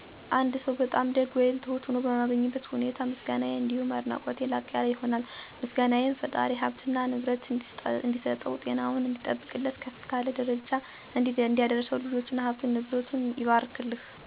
አንድ ሰው በጣም ደግ ወይም ትሁት ሆኖ በማገኝበት ሁኔታ ምስጋናየ አንዲሁም አድናቆቴ ላቅ ያለ ይሆናል። ምስጋናየም ፈጣሪ ሀብትና ንብረት እንዲሰጠው፣ ጤናውን እንዲጠብቅለት፣ ከፍ ካለ ደረጃ እንዲያደርሰው፣ ልጆቹ፥ ሀብትና ንብረቱ ይባርክልህ፣ ከባልንጀራህ በታች አትዋል በማለት አመሰግናለሁ። እንዲሁም እንደሰጠህ ሳይቸግርህ ኑር፣ እንደኮራህ፥ እንደተንጠራራህ እንደተጀነንክ ኑር፣ ያባ ባሀር ልጅ፥ ያባ መስጠት ልጅ በማለት አመሰግነዋለሁ። በግጥምም ለምሳሌ የነ አባ መስጠትን ሳመሰግን፦ ላሙ ዱር አዳሪ በሬው ዱር አዳሪ አረ ሞላ ደስታ ለደሀ አበዳሪ። ለትሁት ሰውም ጉልበትህን አይቆርጥምህ በማለት አመሰግነዋለሁ።